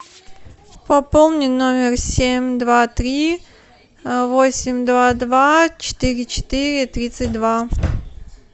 пополни номер семь два три восемь два два четыре четыре тридцать два